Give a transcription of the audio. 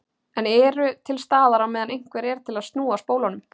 En eru til staðar á meðan einhver er til að snúa spólunum.